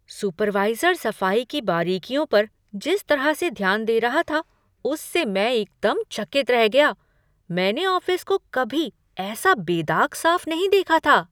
Supervisor सफाई की बारीकियों पर जिस तरह से ध्यान दे रहा था, उससे मैं एकदम चकित रह गया। मैंने ऑफिस को कभी ऐसा बेदाग साफ नहीं देखा था!